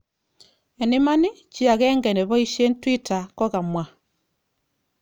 En iman, chi agenge neboishen Twitter kokamwa.